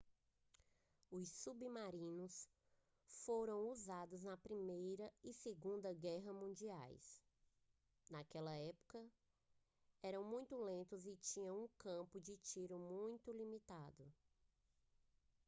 os submarinos foram usados na primeira e segunda guerras mundiais naquela época eram muito lentos e tinham um campo de tiro muito limitado